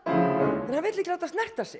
vill ekki láta snerta sig